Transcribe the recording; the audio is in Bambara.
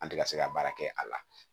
An tɛ ka se ka baara kɛ a la